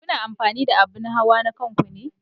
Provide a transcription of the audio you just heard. Kuna amfani da abun hawa na kanku ne?